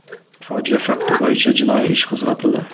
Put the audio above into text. Fojia fakti bo‘yicha jinoiy ish qo‘zg‘atildi.